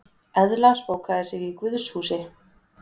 Eðla spókaði sig í guðshúsi